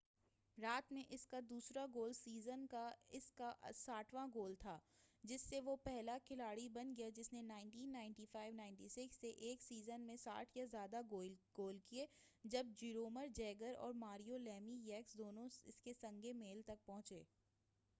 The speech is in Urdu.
رات میں اس کا دوسرا گول سیزن کا اس کا 60واں گول تھا جس سے وہ پہلا کھلاڑی بن گیا جس نے 1995-96 سے ایک سیزن میں 60 یا زائد گول کیے جب جیرومر جیگر اور ماریو لیمی یکس دونوں اس سنگِ میل تک پہنچے